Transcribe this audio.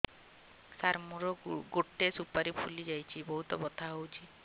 ସାର ମୋର ଗୋଟେ ସୁପାରୀ ଫୁଲିଯାଇଛି ବହୁତ ବଥା ହଉଛି